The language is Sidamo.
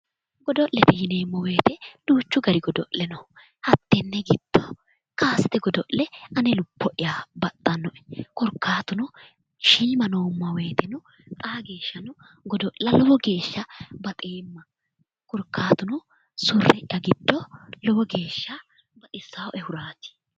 godo'lete yineemmo woyite duuchu dani godo'le no hattenne giddo kasete godo'le ane lubbo'ya baxxannoe korkaattuno shiima noomma woyteno xaa geeshshano godo'la lowo geeshsha baxeemma korkaattuno surre'ya giddo lowo geeshsha baxissaaehuraati.